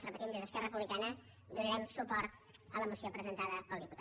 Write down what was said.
ho repetim des d’esquerra republicana donarem suport a la moció presentada pel diputat